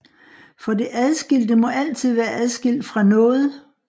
For det adskilte må altid være adskilt fra noget